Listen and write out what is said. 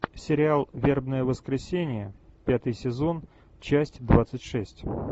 сериал вербное воскресенье пятый сезон часть двадцать шесть